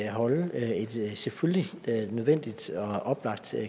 holde et selvfølgelig nødvendigt og oplagt